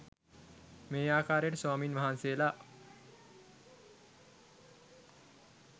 මේ ආකාරයට ස්වාමින් වහන්සේලා